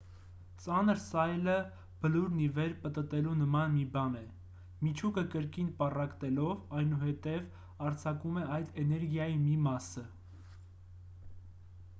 ծանր սայլը բլուրն ի վեր պտտելու նման մի բան է միջուկը կրկին պառակտելով այնուհետև արձակում է այդ էներգիայի մի մասը